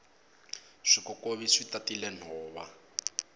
swikokovi swi tatile nhova